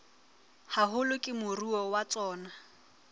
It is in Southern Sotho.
haholo ke moruo wa tsona